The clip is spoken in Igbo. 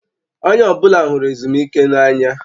Onye ọbụla hụrụ ezumike n'anya